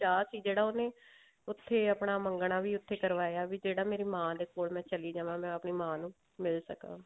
ਸੀ ਜਿਹੜਾ ਉਹਨੇ ਉੱਥੇ ਆਪਣਾ ਮੰਗਣਾ ਵੀ ਉੱਥੇ ਕਰਵਾਇਆ ਵੀ ਜਿਹੜਾ ਮੇਰੀ ਮਾਂ ਦੇ ਕੋਲ ਮੈਂ ਚਲੀ ਜਾਵਾਂ ਮੈਂ ਅਓਨੀ ਮਾਂ ਨੂੰ ਮਿਲ ਸਕਾ